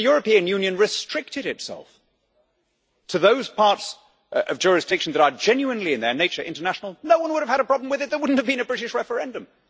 If the European Union restricted itself to those parts of jurisdiction that are genuinely in their nature international, no one would have had a problem with it. There would not have been a British referendum.